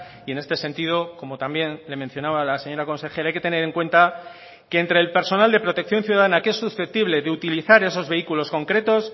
y en este sentido como también le mencionaba la señora consejera hay que tener en cuenta que entre el personal de protección ciudadana que es susceptible de utilizar esos vehículos concretos